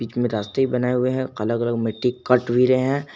रास्ते बनाए हुए हैं अलग अलग मिट्टी कट भी रहे हैं।